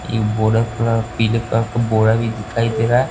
ये बोरा कलर पीले कलर का बोरा भी दिखाई दे रहा है।